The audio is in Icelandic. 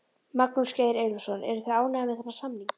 Magnús Geir Eyjólfsson: Eruð þið ánægðir með þennan samning?